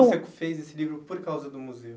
O senhor que fez esse livro por causa do museu?